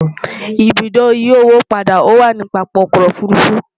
ibùdó ìyí owó padà wà nì pápá ọkọ òfurufú